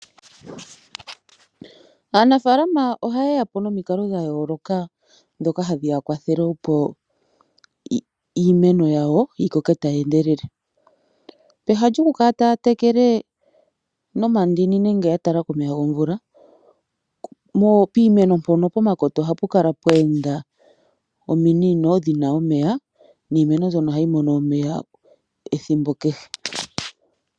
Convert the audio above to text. Aanafaalama oha ye ya po nomikalo dhayooloka dhoka hadhiya kwathele opo iimeno yawo yikoke tayi endelele. Pehala lyokukala taya tekele nomandini nenge yatala komeya gomvula, piimeno mpono, pomakota ohapu kala pweenda ominino dhina omeya, niimeno mbyono ohayi mono omeya ethimbo kehe.